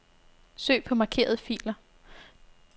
Søg på markerede filer.